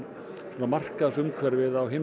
markaðsumhverfið á hinum